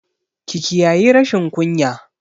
Ki kiyayi rashin kunya!